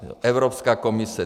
Evropská komise.